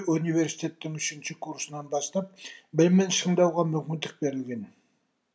университеттің үшінші курсынан бастап білімін шыңдауға мүмкіндік берілген